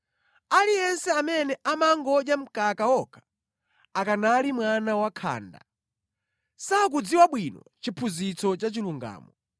Aliyense amene amangodya mkaka okha, akanali mwana wakhanda, sakudziwa bwino chiphunzitso cha chilungamo.